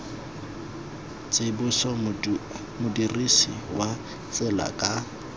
tsibosa modirisi wa tsela ka